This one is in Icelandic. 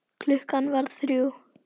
Klukkan varð þrjú.